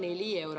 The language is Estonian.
Aivar Kokk, palun!